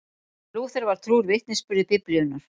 Lúther var trúr vitnisburði Biblíunnar.